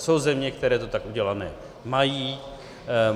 Jsou země, které to tak udělané mají.